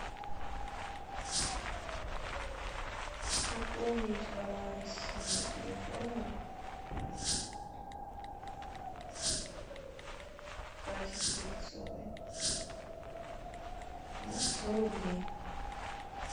пополнить баланс телефона кати стрельцовой на сто рублей